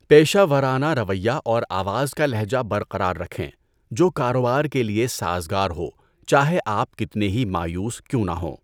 پیشہ ورانہ رویہ اور آواز کا لہجہ برقرار رکھیں جو کاروبار کے لیے سازگار ہو چاہے آپ کتنے ہی مایوس کیوں نہ ہوں۔